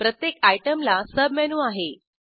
प्रत्येक आयटेमला सबमेनू आहे